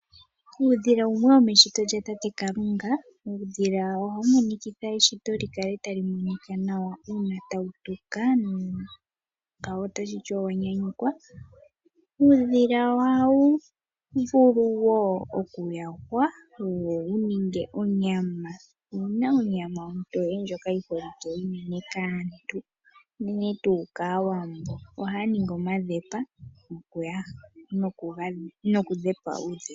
Uudhila wumwe womeshito lya tate Kalunga, uudhila oha wu monikitha eshito lyi kale ta li monika nawa, uuna tawu tuka ngawo otashiti owa nyanyukwa, uudhila oha wuvulu wo okuyahwa wo wuninge onyama, owu na onyama ontoye ndjoka yiholikwe kaantu, unene tuu kaAwambo, oha ya ningi omadhepa nokudhepa uudhila.